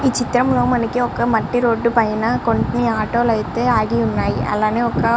ఈ చిత్రంలో మనకి ఒక్క మట్టి రోడ్డు పైన కొన్ని ఆటో లైతే ఆగి ఉన్నాయి అలానే ఒక్క --